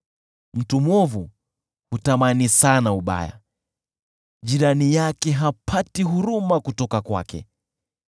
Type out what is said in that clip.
Mtu mwovu hutamani sana ubaya, jirani yake hapati huruma kutoka kwake.